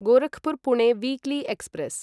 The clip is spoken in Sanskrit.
Gorakhpur Pune weekly express